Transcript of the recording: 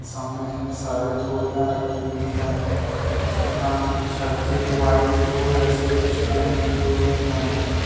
सामने इतने सारे बोरियां रखी हुई है और इस दुकान की छज्जे वाइट ब्लू जैसे कुछ पेंट किए हुए हैं ।